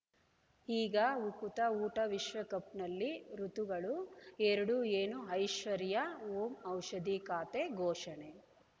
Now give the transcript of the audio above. ಈಗ ಉಕುತ ಊಟ ವಿಶ್ವಕಪ್‌ನಲ್ಲಿ ಋತುಗಳು ಎರಡು ಏನು ಐಶ್ವರ್ಯಾ ಓಂ ಔಷಧಿ ಖಾತೆ ಘೋಷಣೆ